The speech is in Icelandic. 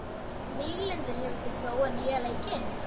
Víglundur, hefur þú prófað nýja leikinn?